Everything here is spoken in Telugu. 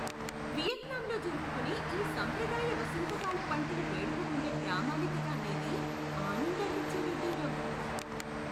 వియత్నాంలో జరుపుకునే ఈ సాంప్రదాయ వసంతకాల పంటల వేడుకకుండే ప్రామాణికత అనేది ఆనందాన్నిచ్చే విడ్డూరం.